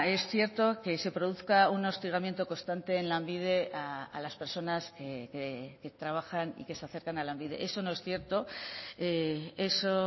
es cierto que se produzca un hostigamiento constante en lanbide a las personas que trabajan y que se acercan a lanbide eso no es cierto eso